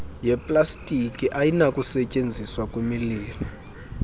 yeplastiki ayinakusetyenziswa kwimililo